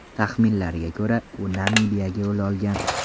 Taxminlarga ko‘ra, u Namibiyaga yo‘l olgan.